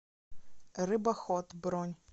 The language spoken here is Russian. рыбохот бронь